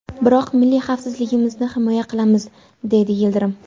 Biroq milliy xavfsizligimizni himoya qilamiz” dedi Yildirim.